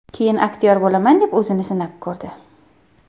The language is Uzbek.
Keyin aktyor bo‘laman deb o‘zini sinab ko‘rdi.